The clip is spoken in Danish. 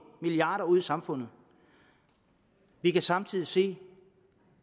milliarder ud i samfundet vi kan samtidig se